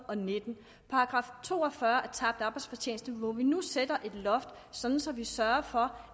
og nittende § to og fyrre tabt arbejdsfortjeneste hvor vi nu sætter et loft sådan så vi sørger for